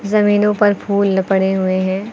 जमीनों पर फूल ल पड़े हुए हैं।